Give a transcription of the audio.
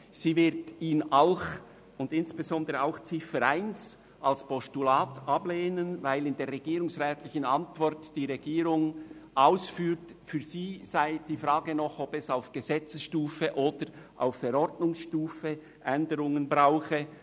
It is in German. sie wird ihn auch, und insbesondere Ziffer 1, als Postulat ablehnen, weil die Regierung in ihrer Antwort ausführt, für sie sei die Frage offen, ob es auf Gesetzes- oder auf Verordnungsstufe noch Änderungen brauche.